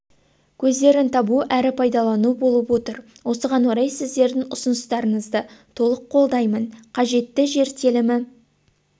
көздерін табу әрі пайдалану болып отыр осыған орай сіздердің ұсыныстарыңызды толық қолдаймын қажетті жер телімі